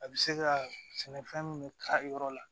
A bɛ se ka sɛnɛfɛn min ka yɔrɔ la